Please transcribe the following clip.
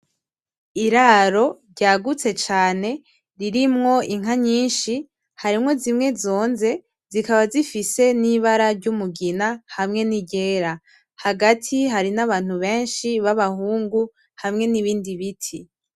Iraro ryagutse cane ririmwo inka nyinshi harimwo zimwe zonze zikaba zifise n’ibara ryumugina hamwe n’iryera hagati hari n’Abantu benshi babahungu hamwe n'ibindi biti.